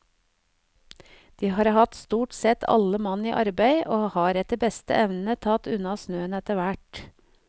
De har hatt stort sett alle mann i arbeid, og har etter beste evne tatt unna snøen etter hvert.